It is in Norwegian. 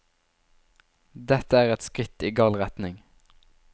Dette er et skritt i gal retning.